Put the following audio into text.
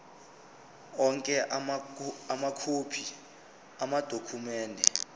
onke amakhophi amadokhumende